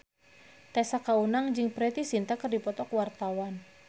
Tessa Kaunang jeung Preity Zinta keur dipoto ku wartawan